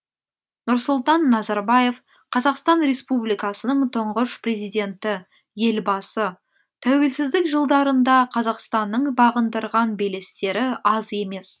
нұрсұлтан назарбаев қазақстан республикасының тұңғыш президенті елбасы тәуелсіздік жылдарында қазақстанның бағындырған белестері аз емес